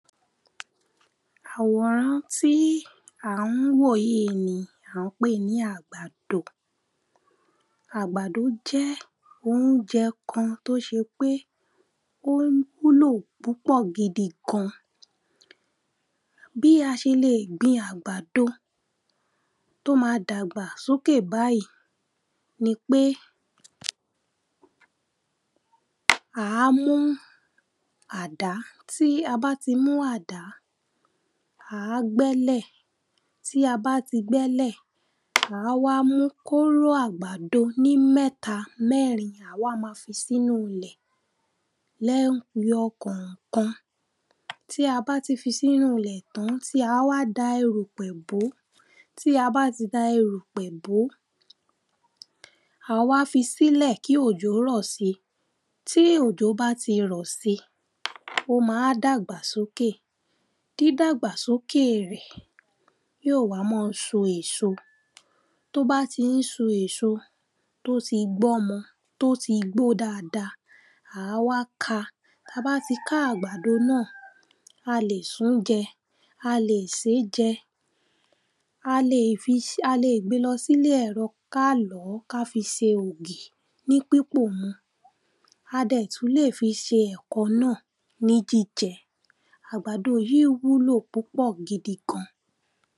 Àwòrán tí à ń wò yíì ni à ń pè ní àgbàdo. Àgbàdó jé̩ oúje̩ kan tó s̩e pé ó wúlò púpò̩ gidi gan. Bí a s̩e leè gbin àgbàdo tó ma dàgbà sókè báyí ni pé À á mú àdá. Tí a bá ti mú àdá, à á gbé̩lè̩. Tí a bá ti gbé̩lè̩, à á wá mú kóró àgbàdo ní mé̩ta mé̩rin, à á wá ma fi sínú ilè̩ lé̩yo̩ kò̩ò̩kan. Tí a bá ti fi sínú ilè̩ tán, à á wá da erùpè̩ bó. Tí a bá ti da erìpè̩ bó, à wá fi sílè̩ kí òjò rò̩ si. Tí òjò bá ti rò̩ si, ó ma wá dàgbà sókè. Dídàgbà sókè rè̩, yó wá má a so èso. Tó bá ti ń so èso, tó ti ń gbó̩mo̩, tó ti gbó dada, à á wá ka. Tí a bá ti ká àgbàdó náà, a lè sún je̩. A lè sé je̩. A leè fi s a leè gbe lo̩ sílé è̩ro̩ ká lò̩ ó̩ ká fi se ògì ní pípò mu. A dè̩ tún lè fi se è̩ko̩ náà ní jíje̩. Àgbàdo yíì wúlò púpò̩ gidi gan.